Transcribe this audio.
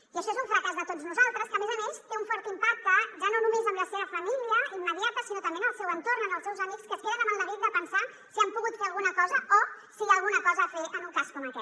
i això és un fracàs de tots nosaltres que a més a més té un fort impacte ja no només en la seva família immediata sinó també en el seu entorn en els seus amics que es queden amb el neguit de pensar si han pogut fer alguna cosa o si hi ha alguna cosa a fer en un cas com aquest